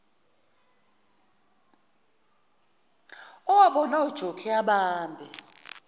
owabona ujokhi ebambe